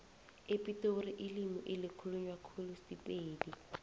epitori ilimi elikhulunywa khulu sipedi